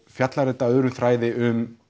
fjallar þetta öðrum þræði um